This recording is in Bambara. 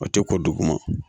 O tɛ ko duguma